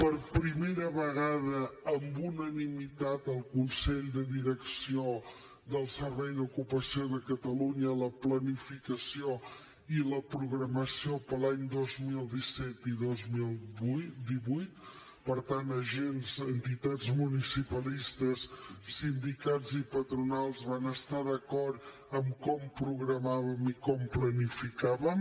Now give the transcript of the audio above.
per primera vegada amb unanimitat al consell de direcció del servei d’ocupació de catalunya sobre la planificació i la programació per a l’any dos mil disset i dos mil divuit per tant agents entitats municipalistes sindicats i patronals van estar d’acord en com programàvem i com planificàvem